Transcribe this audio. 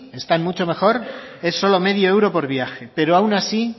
están mucho mejor es solo medio euro por viaje pero aun así